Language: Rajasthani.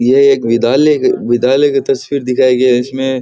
ये एक बिद्यालय का विद्यालय की तस्वीर दिखाई गयी इसमे।